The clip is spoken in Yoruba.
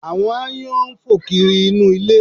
Àwọn aáyán ń fò kiri inú ilé